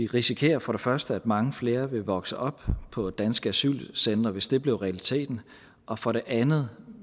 risikerer for det første at mange flere vil vokse op på danske asylcentre hvis det bliver realiteten og for det andet